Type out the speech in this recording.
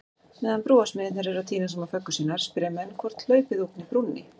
Meðan brúarsmiðirnir eru að týna saman föggur sínar, spyrja menn hvort hlaupið ógni brúnni?